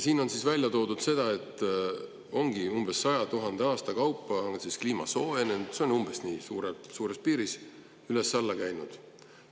On välja toodud, et umbes iga 100 000 aasta tagant ongi kliima soojenenud, umbes sellise aja jooksul on üles-alla käinud.